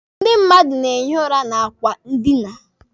Ndị mmadụ na-ehi ụra na akwa ndina.